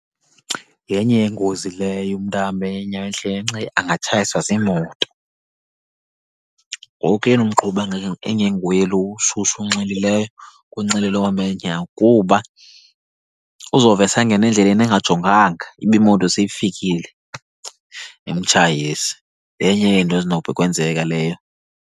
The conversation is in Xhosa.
Yenye yeengozi leyo umntu ahambe ngeenyawo endleleni enxilile, angatshayiswa ziimoto. Ngoku yena umqhubi engenguye lo ushushu unxilileyo kunxile lo uhamba ngeenyawo, kuba uzovese angene endleleni engajonganga ibe imoto seyifikile, imtshayise. Yenye yezinto ezinokwenzeka leyo.